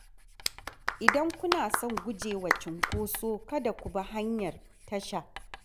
Idan kuna son guje wa cunkoso, kada ku bi hanyar tasha.